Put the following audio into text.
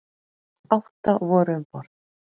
Átta voru um borð.